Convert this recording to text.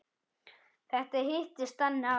Þetta hittist þannig á.